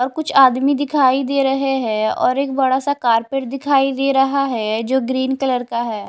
और कुछ आदमी दिखाई दे रहे हैं और एक बड़ा सा कारपेट दिखाई दे रहा है जो ग्रीन कलर का है।